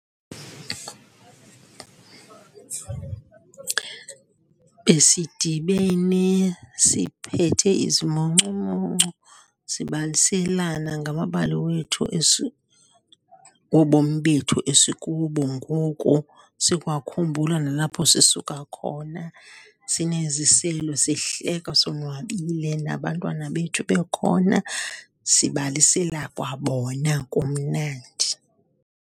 Besidibene siphethe izimuncumuncu, sibaliselana ngamabali wethu wobomi bethu esikubo ngoku, sikwakhumbula nalapho sisuka khona. Sineziselo, sihleka sonwabile, nabantwana bethu bekhona, sibalisela kwa bona, kumnandi.